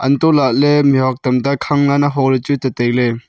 hantohlahley mihhuak tamta khang lanlan holah ley chu tailey.